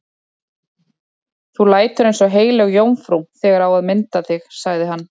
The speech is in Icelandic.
Þú lætur eins og heilög jómfrú þegar á að mynda þig, sagði hann.